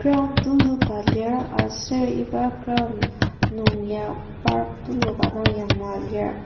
ground tuluka lir aser iba ground nungya park tuluka dang yanglua lir.